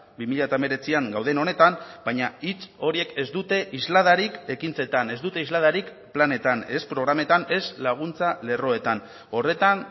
bi mila hemeretzian gauden honetan baina hitz horiek ez dute isladarik ekintzetan ez dute isladarik planetan ez programetan ez laguntza lerroetan horretan